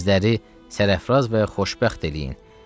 Bizləri sərəfraz və xoşbəxt eləyin.